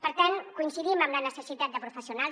per tant coincidim amb la necessitat de professionals